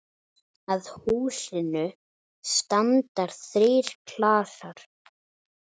Að húsinu standa þrír klasar.